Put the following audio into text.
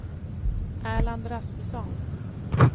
Erland Rasmusson